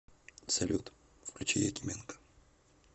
салют включи якименко